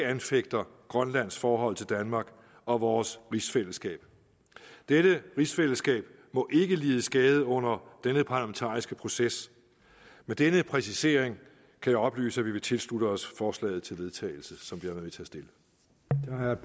anfægter grønlands forhold til danmark og vores rigsfællesskab dette rigsfællesskab må ikke lide skade under denne parlamentariske proces med denne præcisering kan jeg oplyse at vi vil tilslutte os forslaget til vedtagelse som vi